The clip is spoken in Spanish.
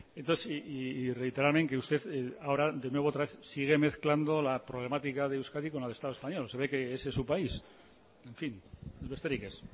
entonces y reiterarme en que usted ahora de nuevo otra vez sigue mezclando la problemática de euskadi con la de el estado español se ve que ese es su país en fin besterik ez